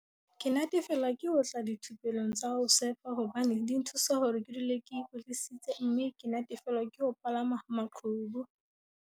"Ke natefelwa ke ho tla dithupelong tsa ho sefa hobane di nthusa hore ke dule ke ikwetlisitse mme ke natefelwa ke ho palama maqhubu."